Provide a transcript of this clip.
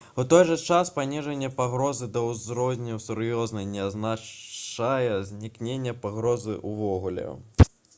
«у той жа час паніжэнне пагрозы да ўзроўню сур'ёзнай не азначае знікнення пагрозы ўвогуле»